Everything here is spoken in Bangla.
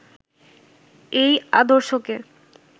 এই আদর্শকে